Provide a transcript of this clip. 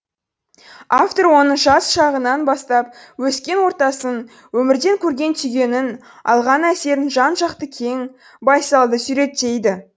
автор оның жас шағынан бастап өскен ортасын өмірден көрген түйгенін алған әсерін жан жақты кең байсалды суреттейді